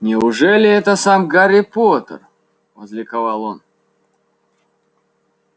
неужели это сам гарри поттер возликовал он